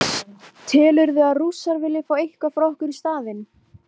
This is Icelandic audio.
Telurðu að Rússar vilji fá eitthvað frá okkur í staðinn?